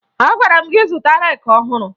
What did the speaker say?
Agwara m gị zụta reeki ọhụrụ!